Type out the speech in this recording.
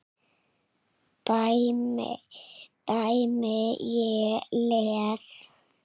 dæmi: Ég les.